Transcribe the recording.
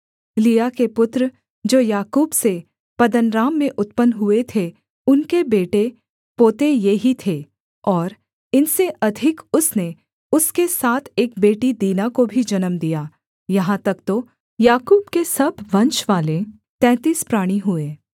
लिआ के पुत्र जो याकूब से पद्दनराम में उत्पन्न हुए थे उनके बेटे पोते ये ही थे और इनसे अधिक उसने उसके साथ एक बेटी दीना को भी जन्म दिया यहाँ तक तो याकूब के सब वंशवाले तैंतीस प्राणी हुए